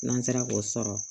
N'an sera k'o sɔrɔ